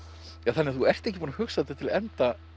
þannig að þú ert ekki búin að hugsa þetta til enda